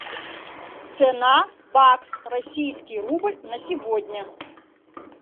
цена бакс российский рубль на сегодня